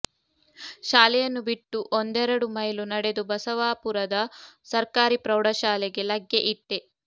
ಶಾಲೆಯನ್ನು ಬಿಟ್ಟು ಒಂದೆರಡು ಮೈಲು ನಡೆದು ಬಸವಾಪುರದ ಸರ್ಕಾರಿ ಪ್ರೌಢಶಾಲೆಗೆ ಲಗ್ಗೆ ಇಟ್ಟೆ